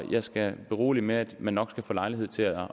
jeg skal berolige med at man nok skal få lejlighed til at